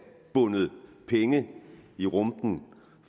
bundet penge i rumpen